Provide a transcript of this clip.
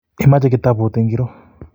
Imoche kitabut ngiro?